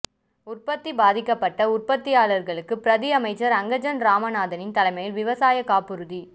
உற்பத்தி பாதிக்கப்பட்ட உற்பத்தியாளர்களுக்கு பிரதி அமைச்சர் அங்கஜன் இராமநாதனின் தலைமையில் விவசாய காப்புறுதி